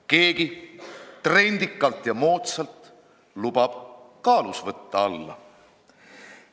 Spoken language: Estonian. Keegi trendikalt ja moodsalt lubab kaalus võtta alla.